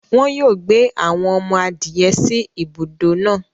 Wọn yóò gbé awọn ọmọ-adìẹ̀ sí ìbùdọ náà